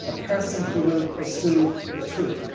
a person who will pursue the truth.